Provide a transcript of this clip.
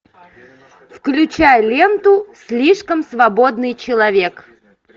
включай ленту слишком свободный человек